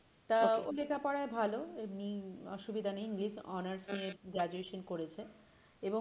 তা okay ও লেখা পড়াই ভালো এমনি অসুবিধাই নেই english honours নিয়ে graduation করেছে এবং